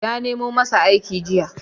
Ya nemo masa aiki jiya.